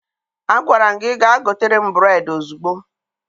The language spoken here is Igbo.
Agwara m gị ga gotere m bureedi ozugbo!